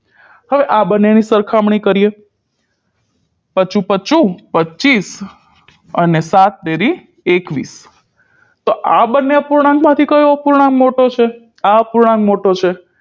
હવે આ બંને ની સરખામણી કરીએ પચું પચું પચ્ચીસ અને સાત તેરી એકવીસ તો આ બંને અપૂર્ણાંક માંથી કયો અપૂર્ણાંક મોટો છે આ અપૂર્ણાંક મોટો છે